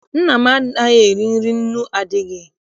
Nna m anaghị eri nri nnu adịghị.